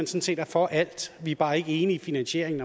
set er for alt vi er bare ikke enige i finansieringen